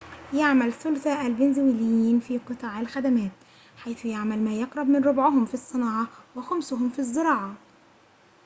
يعمل ثلثا الفنزويليين في قطاع الخدمات حيث يعمل ما يقرب من ربعهم في الصناعة وخمسهم في الزراعة